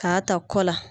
K'a ta kɔ la